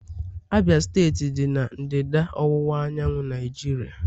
Abia steeti dị na ndịda ọwụwa anyanwụ Naijiria.